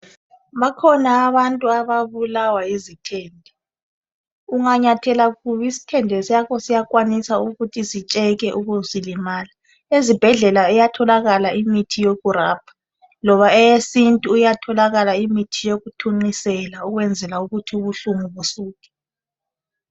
Bakhona abantu ababulawa yizithende. Unganyathela kubi isthende sakho siyakwanisa ukuthi sitsheke ube usulimala, ezibhedlela iyatholakala imithi yokurabha. Loba eyesintu iyatholakala imithi yokuthunqisela ukwenzela ukuthi ubuhlungu busuke.